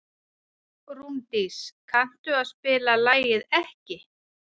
Rúndís, kanntu að spila lagið „Ekki“?